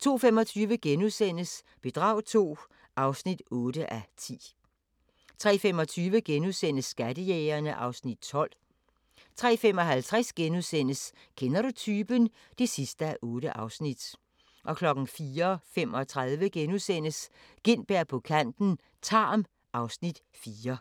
02:25: Bedrag II (8:10)* 03:25: Skattejægerne (Afs. 12)* 03:55: Kender du typen? (8:8)* 04:35: Gintberg på kanten - Tarm (Afs. 4)*